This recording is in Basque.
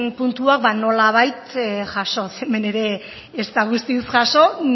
puntuak ba nolabait jasoz hemen ere ez da guztiz jaso